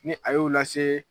Ni a y'o lase